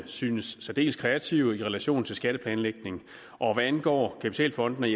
synes særdeles kreative i relation til skatteplanlægning hvad angår kapitalfondene